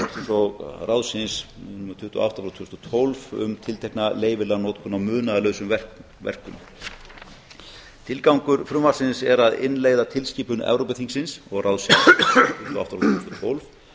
og ráðsins númer tuttugu og átta frá tvö þúsund og tólf um tiltekna leyfilega notkun á munaðarlausum verkum til gangur frumvarpsins er að innleiða tilskipun evrópuþingsins og ráðsins númer tuttugu og átta frá tvö þúsund og tólf